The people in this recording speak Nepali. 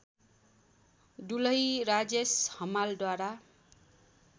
दुलही राजेश हमालद्वारा